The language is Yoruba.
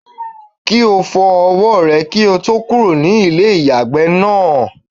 Kí o fọ ọwọ́ rẹ kí o tó kúrò ní ilé ìyàgbẹ́ náà.